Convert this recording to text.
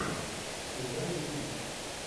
включай боевик